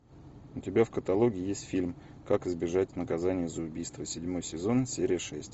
у тебя в каталоге есть фильм как избежать наказания за убийство седьмой сезон серия шесть